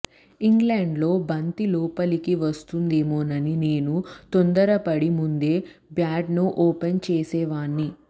ఇంగ్లండ్లో బంతి లోపలికి వస్తుందేమోనని నేను తొందరపడి ముందే బ్యాట్ను ఓపెన్ చేసేవాణ్ని